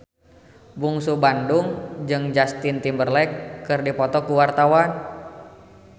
Bungsu Bandung jeung Justin Timberlake keur dipoto ku wartawan